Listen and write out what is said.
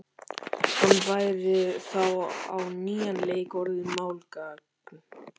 Hann væri þá á nýjan leik orðinn málgagn.